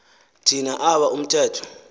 thina aba umthetho